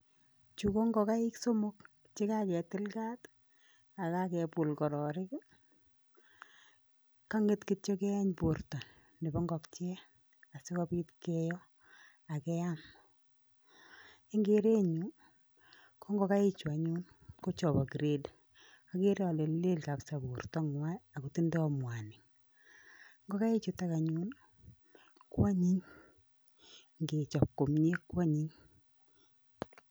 Chu kongokaik somok che kaketil kat akakebul kororik kanget kityo keeny borto nebo ngokiet asikobit keyo akeam. Eng keretnyu kongokaichu anyun kochobo grade agereole lel kapsaa bortonywa akotinye mwanik ngokaichutok anyun koanyiny ngechob komye kwanyiny.